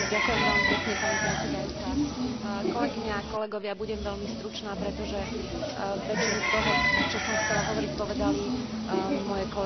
Budem veľmi stručná, pretože väčšinu z toho, čo som chcela hovoriť, povedali moje kolegyne a kolegovia z frakcie Európskych sociálnych demokratov.